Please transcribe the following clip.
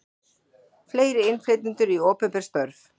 Fleiri innflytjendur í opinber störf